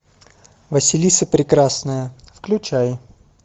василиса прекрасная включай